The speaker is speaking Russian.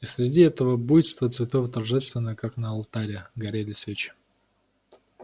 и среди этого буйства цветов торжественно как на алтаря горели свечи